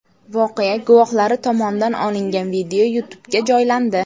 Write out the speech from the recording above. Voqea guvohlari tomonidan olingan video YouTube’ga joylandi .